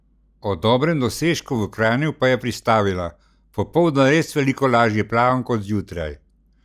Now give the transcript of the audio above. O dobrem dosežku v Kranju pa je pristavila: "Popoldan res veliko lažje plavam kot zjutraj.